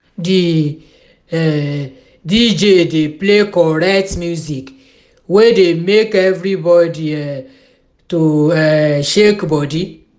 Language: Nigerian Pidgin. di um dj dey play correct music wey dey make everybodi um to um shake body.